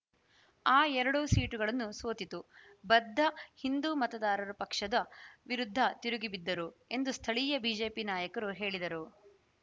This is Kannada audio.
ಆ ಎರಡೂ ಸೀಟುಗಳನ್ನು ಸೋತಿತು ಬದ್ಧ ಹಿಂದೂ ಮತದಾರರು ಪಕ್ಷದ ವಿರುದ್ಧ ತಿರುಗಿಬಿದ್ದರು ಎಂದು ಸ್ಥಳೀಯ ಬಿಜೆಪಿ ನಾಯಕರು ಹೇಳಿದರು